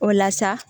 O la sa